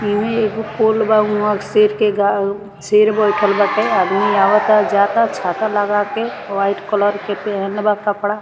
इ मे एगो पोल बा हुआ शेर के गा शेर बइठल बाटे आदमी आवाता जाअता छाता लगा के व्हाइट कलर के पहनले बा कपड़ा।